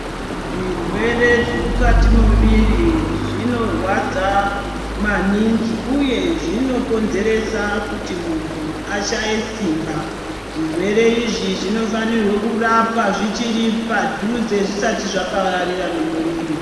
Zvirwre zvemukati momiviri zvinorwadza maningi uye zvinokonzeresa kuti muntu ashaye simba. Zvirwere izvi zvinofanirwe kurapwa zvichiri padhuze, zvisati zvapararira nemuviri.